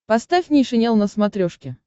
поставь нейшенел на смотрешке